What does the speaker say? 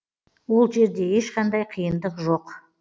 ол жерде ешқандай қиындық жоқ